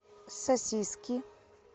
сосиски